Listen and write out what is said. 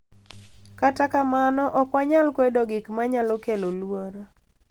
Kata kamano, ok wanyal kwedo gik ma nyalo kelo luoro